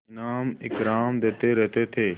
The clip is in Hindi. इनाम इकराम देते रहते थे